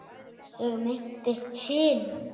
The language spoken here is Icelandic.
ég meinti hinn.